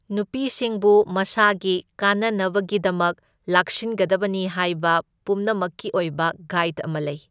ꯅꯨꯄꯤꯁꯤꯡꯕꯨ ꯃꯁꯥꯒꯤ ꯀꯥꯟꯅꯅꯕꯒꯤꯗꯃꯛ ꯂꯥꯛꯁꯤꯟꯒꯗꯕꯅꯤ ꯍꯥꯢꯕ ꯄꯨꯝꯅꯃꯛꯀꯤ ꯑꯣꯏꯕ ꯒꯥꯏꯗ ꯑꯃ ꯂꯩ꯫